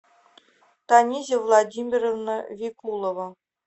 танизя владимировна викулова